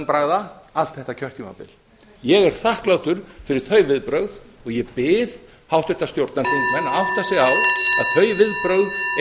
undanbragða allt þetta kjörtímabil ég er þakklátur fyrir þau viðbrögð og ég bið háttvirta stjórnarþingmenn að átta sig